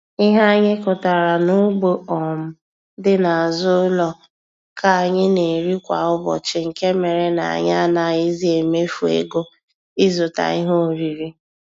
Ihe anyị kụtara n'ugbo um dị n'azụ ụlọ ka anyị na-eri kwa ụbọchị nke mere na anyị anaghịzị emefu ego ịzụta ihe oriri.